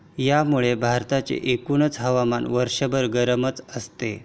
यामुळे भारताचे एकूणच हवामान वर्षभर गरमच असते.